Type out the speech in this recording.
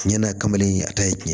Tiɲɛ na a kamalen in a ta ye tiɲɛ ye